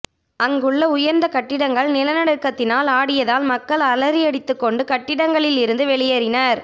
அங்குள்ள உயர்ந்த கட்டிடங்கள் நிலநடுக்கத்தால் ஆடியதால் மக்கள் அலறியடித்து கொண்டு கட்டிடங்களில் இருந்து வெளியேறினர்